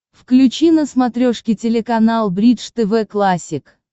включи на смотрешке телеканал бридж тв классик